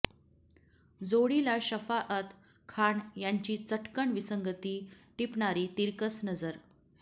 जोडीला शफाअत खान यांची चटकन विसंगती टिपणारी तिरकस नजर